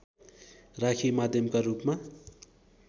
राखी माध्यमका रूपमा